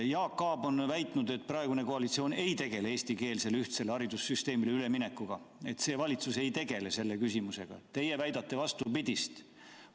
Jaak Aab on väitnud, et praegune koalitsioon ei tegele eestikeelsele ühtsele haridussüsteemile üleminekuga, see valitsus ei tegele selle küsimusega, aga teie väidate vastupidist.